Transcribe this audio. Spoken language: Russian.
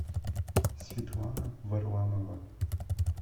светлана варламова